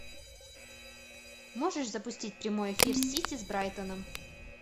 можешь запустить прямой эфир сити с брайтоном